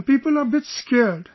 And people are a bit scared